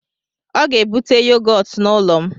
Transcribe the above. Ọ ga-ebute yogọt n'ụlọ m